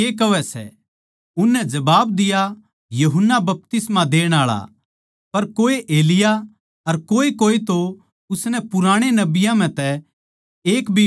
उननै जबाब दिया यूहन्ना बपतिस्मा देण आळा पर कोए एलिय्याह अर कोएकोए तो उसनै पुराणे नबियाँ म्ह एक भी कहवै सै